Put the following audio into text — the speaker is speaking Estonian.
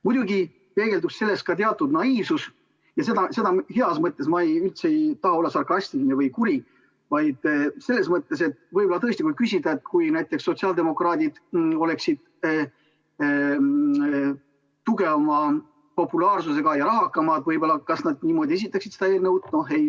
Muidugi peegeldub selles ka teatud naiivsus – ja seda heas mõttes, ma üldse ei taha olla sarkastiline või kuri – selles mõttes, et võib-olla tõesti võib küsida, et kui näiteks sotsiaaldemokraadid oleksid tugevama populaarsusega ja rahakamad, kas nad siis esitaksid selle eelnõu.